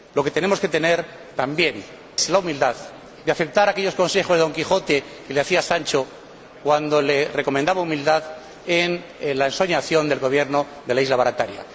Tenemos que tener también la humildad de aceptar aquellos consejos que Don Quijote le daba a Sancho cuando le recomendaba humildad en la ensoñación del gobierno de la ínsula Barataria.